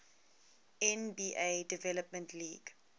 nba development league